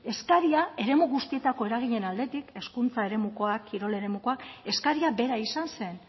eskaria eremu guztietako eraginen aldetik hezkuntza eremukoak kirol eremukoak eskaria bera izan zen